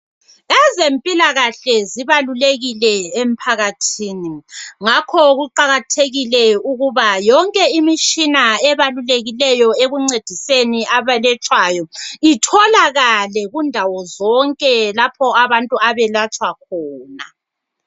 Ezempilakahle zibalulekile emphakathini. Ngakho kuqakathekile ukuba yonke imitshina ebalulekiyo ekuncediseni abelatshwayo itholakale kundawo zonke lapho abantu abelatshwa khona.